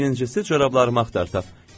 Birincisi, corablarımı axtaraq.